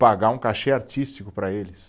Pagar um cachê artístico para eles.